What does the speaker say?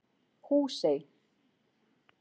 Húsey